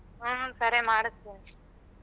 ಹ್ಮ ಸರಿ ಮಾಡಸ್ತಿನಿ.